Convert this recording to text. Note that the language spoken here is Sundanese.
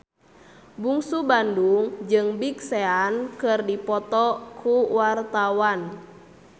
Bungsu Bandung jeung Big Sean keur dipoto ku wartawan